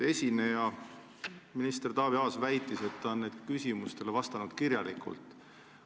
Esineja, minister Taavi Aas, väitis, et ta on nendele küsimustele kirjalikult vastanud.